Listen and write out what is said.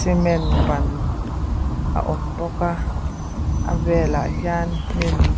cement ban a awm bawk a a velah hian hnim--